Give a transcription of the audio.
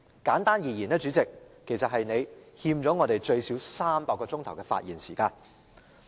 簡單而言，主席，你欠我們最少300小時的發言時間。